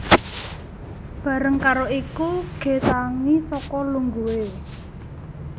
Bareng karo iku G tangi saka lungguhe